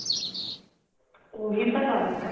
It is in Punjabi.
ਉਹੀ ਤਾਂ ਗੱਲ ਏ